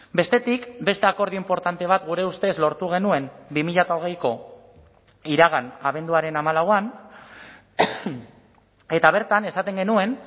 bestetik beste akordio inportante bat gure ustez lortu genuen bi mila hogeiko iragan abenduaren hamalauan eta bertan esaten genuen